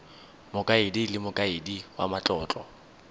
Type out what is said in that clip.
mokaedi le mokaedi wa matlotlo